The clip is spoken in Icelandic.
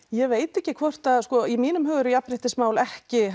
ég veit ekki hvort að sko í mínum augum eru jafnréttismál ekki